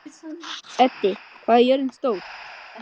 Eddi, hvað er jörðin stór?